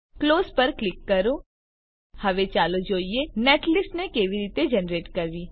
close પર click કરો હવે ચાલો જોઈએ નેટલિસ્ટ ને કેવી રીતે જનરેટ કરવી